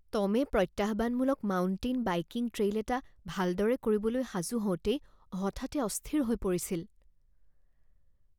টমে প্ৰত্যাহ্বানমূলক mountain biking trail এটা ভালদৰে কৰিবলৈ সাজু হওঁতেই হঠাতে অস্থিৰ হৈ পৰিছিল